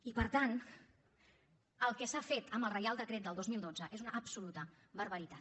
i per tant el que s’ha fet amb el reial decret del dos mil dotze és una absoluta barbaritat